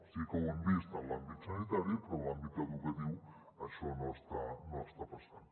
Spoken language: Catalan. sí que ho hem vist en l’àmbit sanitari però en l’àmbit educatiu això no està passant